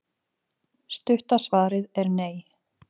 Stutta svarið er nei.